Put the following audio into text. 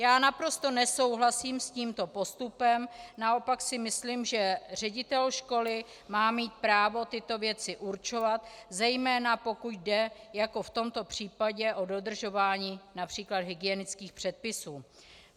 Já naprosto nesouhlasím s tímto postupem, naopak si myslím, že ředitel školy má mít právo tyto věci určovat, zejména pokud jde jako v tomto případě o dodržování například hygienických předpisů.